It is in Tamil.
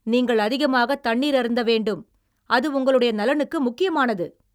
நீங்கள் அதிகமாகத் தண்ணீர் அருந்த வேண்டும், அது உங்களுடைய நலனுக்கு முக்கியமானது!